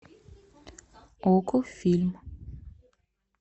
окко фильм